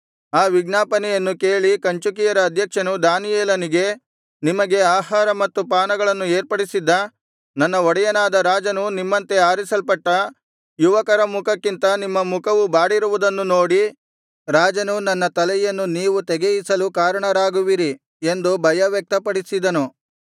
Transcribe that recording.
ಆ ವಿಜ್ಞಾಪನೆಯನ್ನು ಕೇಳಿ ಕಂಚುಕಿಯರ ಅಧ್ಯಕ್ಷನು ದಾನಿಯೇಲನಿಗೆ ನಿಮಗೆ ಆಹಾರ ಮತ್ತು ಪಾನಗಳನ್ನು ಏರ್ಪಡಿಸಿದ್ದ ನನ್ನ ಒಡೆಯನಾದ ರಾಜನು ನಿಮ್ಮಂತೆ ಆರಿಸಲ್ಪಟ್ಟ ಯುವಕರ ಮುಖಕ್ಕಿಂತ ನಿಮ್ಮ ಮುಖವು ಬಾಡಿರುವುದನ್ನು ನೋಡಿ ರಾಜನು ನನ್ನ ತಲೆಯನ್ನು ನೀವು ತೆಗೆಯಿಸಲು ಕಾರಣರಾಗುವಿರಿ ಎಂದು ಭಯ ವ್ಯಕ್ತಪಡಿಸಿದನು